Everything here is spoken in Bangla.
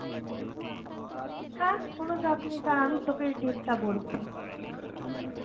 হ্যাঁ কোনো চাপ নেই, দারা আমি তোকে এর date টা বলছি হম